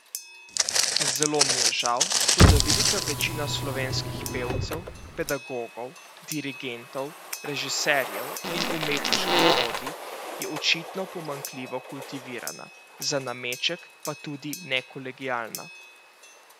Zelo mi je žal, toda velika večina slovenskih pevcev, pedagogov, dirigentov, režiserjev in umetniških vodij je očitno pomanjkljivo kultivirana, za nameček pa tudi nekolegialna.